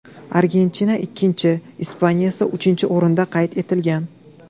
Argentina ikkinchi, Ispaniya esa uchinchi o‘rinda qayd etilgan.